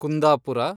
Kundapura